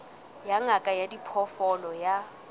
ya ngaka ya diphoofolo ya